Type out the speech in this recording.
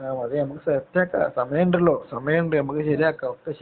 അതേ. നമ്മക്ക് സെറ്റ് ആക്കാം. സമയം ഉണ്ടല്ലോ. സമയം ഉണ്ട് നമ്മുക്ക് ശരിയാക്കാം.